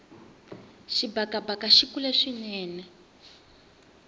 xibakabaka xile kule swinene